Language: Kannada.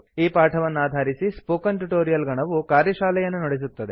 ಈ ಪಾಠವನ್ನಾಧಾರಿಸಿ ಸ್ಪೋಕನ್ ಟ್ಯುಟೊರಿಯಲ್ ಗಣವು ಕಾರ್ಯಶಾಲೆಯನ್ನು ನಡೆಸುತ್ತದೆ